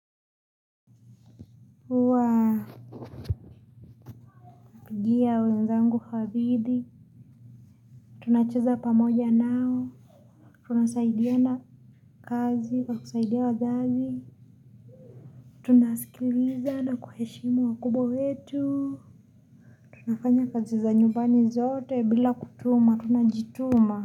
Huwa pigia wenzangu hadithi. Tunacheza pamoja nao. Tunasaidiana kazi kwa kusaidia wazazi. Tunasikiliza na kuheshimu wa kubwa wetu. Tunafanya kazi za nyumbani zote bila kutuma tunajituma.